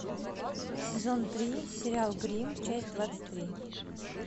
сезон три сериал гримм часть двадцать три